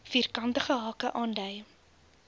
vierkantige hake dui